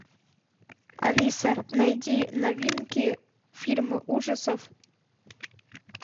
алиса найди новинки фильмы ужасов